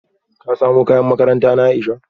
Ka samo kayan makaranta na Aisha?